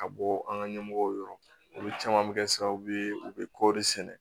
Ka bɔ an ka ɲɛmɔgɔw yɔrɔ olu caman bɛ kɛ sababu ye u bɛ kɔɔri sɛnɛ